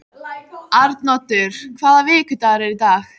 Arnoddur, hvaða vikudagur er í dag?